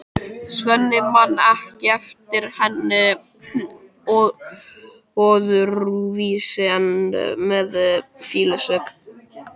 Svenni man ekki eftir henni öðruvísi en með fýlusvip.